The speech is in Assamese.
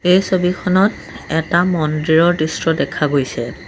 এই ছবিখনত এটা মন্দিৰৰ দৃশ্ৰ দেখা গৈছে।